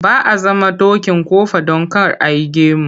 Ba a zama dokin kofa don kar ai gamo.